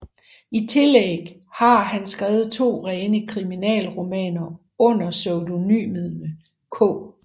I tillæg har han skrevet to rene kriminalromaner under pseudonymerne K